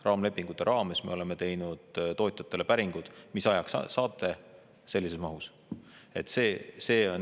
Raamlepingute raames me oleme teinud tootjatele päringud, mis ajaks nad saavad sellises mahus.